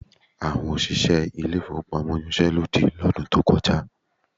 Àwọn òṣìṣẹ́ ilé-ìfowópamọ́ yanṣẹ́ lódì lọ́dún tó kọjá